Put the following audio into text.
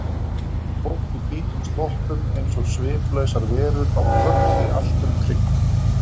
Fólk í hvítum sloppum eins og sviplausar verur á flökti allt um kring.